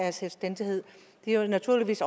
af selvstændighed det er naturligvis